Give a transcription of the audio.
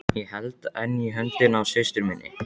Ég held enn í höndina á systur minni.